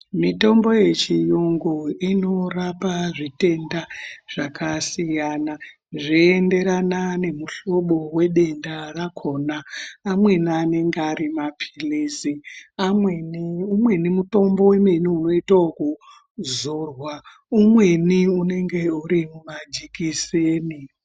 Mitombo yechiyungu inorapa zvitenda zvakasiyana zveienderana nemuhlobo wedenda rakona. Amweni anenge ari maphilizi, umweni mutombo unoita wekuzorwa, umweni unenge uri mumajikiseni .